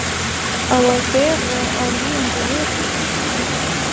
Á að bera á líðandi veturnóttum.